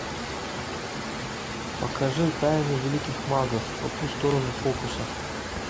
покажи тайны великих магов по ту сторону фокусов